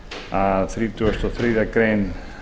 að þrítugasta og þriðju grein